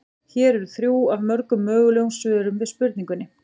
Hér eru þrjú af mörgum mögulegum svörum við spurningunni.